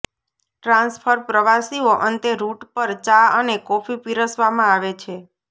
transfer પ્રવાસીઓ અંતે route પર ચા અને કોફી પીરસવામાં આવે છે